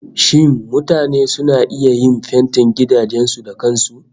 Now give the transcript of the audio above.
Shin mutane suna iya yin fentin gidajen su da kan su?